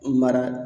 Mara